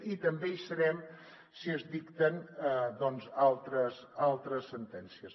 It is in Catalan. i també hi serem si es dicten doncs altres sentències